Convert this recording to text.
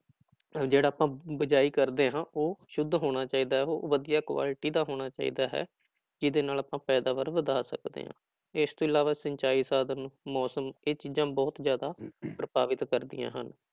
ਜਿਹੜਾ ਆਪਾਂ ਬੀਜਾਈ ਕਰਦੇ ਹਾਂ ਉਹ ਸੁੱਧ ਹੋਣਾ ਚਾਹੀਦਾ ਹੈ ਉਹ ਵਧੀਆ ਕੁਆਲਟੀ ਦਾ ਹੋਣਾ ਚਾਹੀਦਾ ਹੈ ਜਿਹਦੇ ਨਾਲ ਆਪਾਂ ਪੈਦਾਵਾਰ ਵਧਾ ਸਕਦੇ ਹਾਂ, ਇਸ ਤੋਂ ਇਲਾਵਾ ਸਿੰਚਾਈ ਸਾਧਨ ਨੂੰ ਮੌਸਮ ਇਹ ਚੀਜ਼ਾਂ ਬਹੁਤ ਜ਼ਿਆਦਾ ਪ੍ਰਭਾਵਿਤ ਕਰਦੀਆਂ ਹਨ